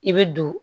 I bɛ don